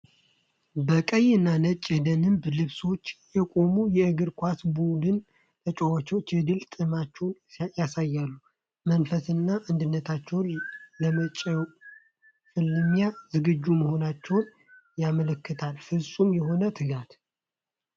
በቀይና ነጭ የደንብ ልብሳቸው የቆሙት የእግር ኳስ ቡድን ተጫዋቾች የድል ጥማትን ያሳያሉ። የቡድኑ መንፈስና አንድነታቸው ለመጪው ፍልሚያ ዝግጁ መሆናቸውን ያመለክታል። ፍፁም የሆነ ትጋት!